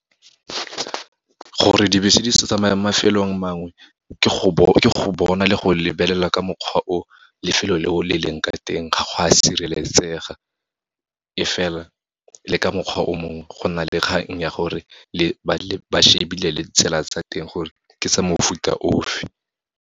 Gore dibese di sa tsamaya mo mafelong mangwe, ke go bona le go lebelela ka mokgwa o lefelo le o, le leng ka teng, ga go a sireletsega. E fela, le ka mokgwa o mongwe, go nna le kgang ya gore ba shebile le tsela tsa teng gore, ke tsa mofuta ofe.